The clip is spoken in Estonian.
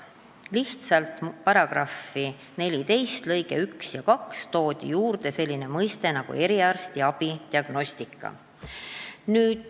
Lihtsalt § 14 lõigetesse 1 ja 2 toodi juurde selline mõiste nagu "eriarstiabi diagnostika".